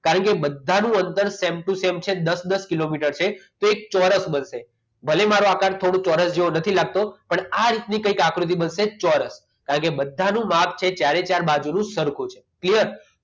કારણકે બધાનું અંતર same to same છે દસ દસ કિલોમીટર છે તો એક ચોરસ બનશે ભલે મારો આકાર થોડું ચોરસ જેવું નથી લાગતો પણ આ રીતની કંઈક આકૃતિ બનશે ચોરસ કારણ કે બધાનું માપ છે ચારે ચાર બાજુનું સરખું છે clear